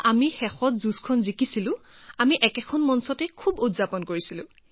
শেষত যেতিয়া আমি যুঁজখনত জয়ী হৈছিলো তেতিয়া আমি পডিয়ামতে বহুত আনন্দ উদযাপন কৰিছিলো